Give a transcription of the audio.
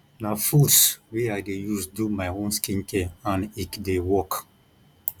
na fruits wey i dey use do my own skincare and ecdey work